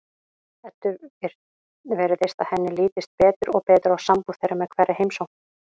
Eddu virðist að henni lítist betur og betur á sambúð þeirra með hverri heimsókn.